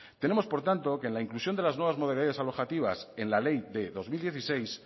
tenemos por tanto que en la inclusión de las nuevas modalidades alojativas en la ley de dos mil dieciséis